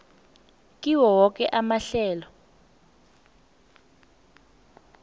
kiwo woke amahlelo